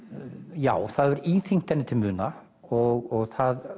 já það hefur íþyngt henni til muna og það